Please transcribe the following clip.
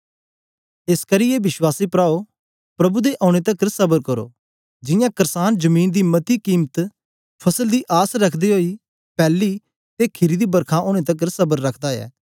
एसकरी ए विश्वासी प्राओ प्रभु दे औने तकर स्बर करो जियां क्रसान जमीन दी मती कीमती फसल दी आस रखदे ओई पैली ते खीरी दी बरखा ओनें तकर स्बर रखदा ऐ